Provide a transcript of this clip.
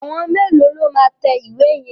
Àwọn mélòó lo máa tẹ ìwé yẹn?